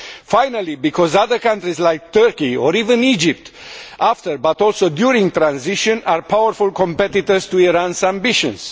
Finally, because other countries like Turkey or even Egypt after, but also during, transition are powerful competitors to Iran's ambitions.